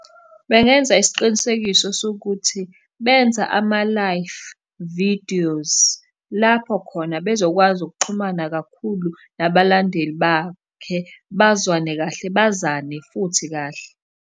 Bengenza isiqinisekiso sokuthi, benza ama-life videos, lapho khona bezokwazi ukuxhumana kakhulu nabalandeli bakhe, bazwane kahle, bazane futhi kahle.